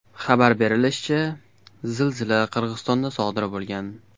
Xabar berilishicha, zilzila Qirg‘izistonda sodir bo‘lgan.